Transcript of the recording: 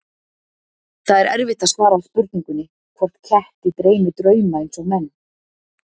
Það er erfitt að svara spurningunni hvort ketti dreymi drauma eins og menn.